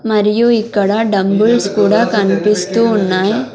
మరియు ఇక్కడ డంబుల్స్ కుడా కన్పిస్తూ ఉన్నాయ్.